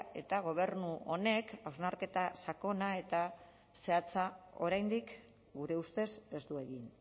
eta gobernu honek hausnarketa sakona eta zehatza oraindik gure ustez ez du egin